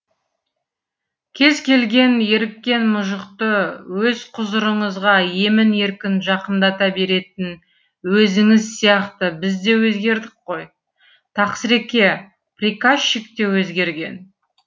кез келген еріккен мұжықты өз құзырыңызға емін еркін жақындата беретін өзіңіз сияқты біз де өзгердік қой тақсыреке приказчик те өзгерген